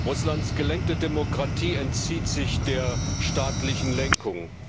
Russlands gelenkte Demokratie entzieht sich der staatlichen Lenkung.